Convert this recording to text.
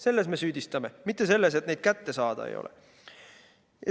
Selles me süüdistame, mitte selles, et neid kätte saada ei ole võimalik.